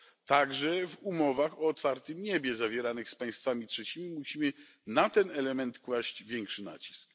Także w umowach o otwartym niebie zawieranych z państwami trzecimi musimy na ten element kłaść większy nacisk.